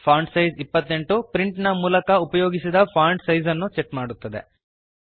font size 28 ಪ್ರಿಂಟಿನ ಮೂಲಕ ಉಪಯೋಗಿಸಿದ ಫಾಂಟ್ ಸೈಜ್ ಅನ್ನು ಸೆಟ್ ಮಾಡುತ್ತದೆ